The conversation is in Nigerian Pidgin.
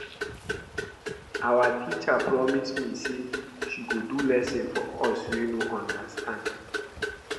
Our teacher promise say she go do lesson for us wey no understand